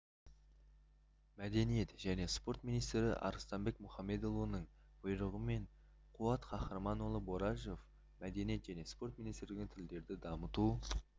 мәдениет және спорт министрі арыстанбек мұхамедиұлының бұйрығымен қуат қахарманұлы борашев мәдениет және спорт министрлігінің тілдерді дамыту